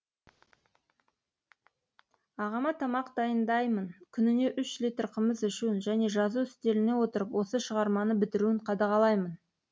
ағама тамақ дайындаймын күніне үш литр қымыз ішуін және жазу үстеліне отырып осы шығарманы бітіруін қадағалаймын